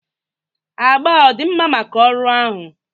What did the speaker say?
Agba a ọ dị mma maka ọrụ ahụ?